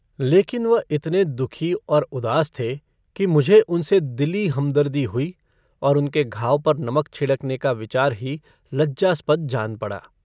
लेकिन वह इतने दुःखी और उदास थे कि मुझे उनसे दिली हमदर्दी हुई और उनके घाव पर नमक छिड़कने का विचार ही लज्जास्पद जान पड़ा।